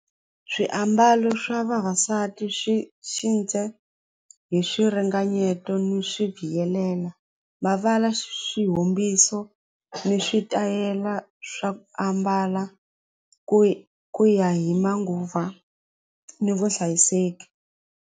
Swiambalo swa vavasati swi hi swiringanyeto ni swi mavala swihumbiso ni switayela swa ku ambala ku ku ya hi manguva ni vuhlayiseki.